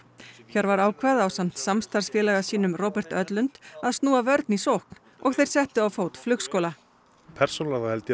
Hjörvar ákvað ásamt samstarfsfélaga sínum Robert Ödlund að snúa vörn í sókn og þeir settu á fót flugskóla persónulega þá held ég